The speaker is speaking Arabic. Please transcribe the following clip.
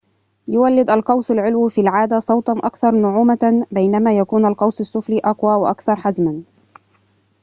يوّلد القوس العلوي في العادة صوتاً أكثر نعومة بينما يكون القوس السفلي أقوى وأكثر حزماً